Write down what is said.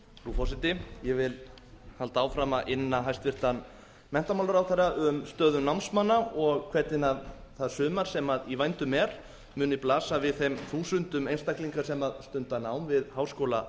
forseti ég vil halda áfram að inna hæstvirtan menntamálaráðherra um stöðu námsmanna og hvernig það sumar sem í vændum er muni blasa við þeim þúsundum einstaklinga sem stunda nám við háskóla